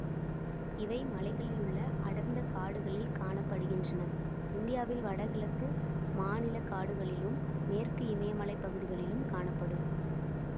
இவை மலைகளிலுள்ள அடர்ந்த காடுகளில் காண படுகின்றன இந்தியாவில் வடகிழக்கு மாநிலக்காடுகளிலும் மேற்கு இமயமலைப்பகுதிகளிலும் காணப்படும்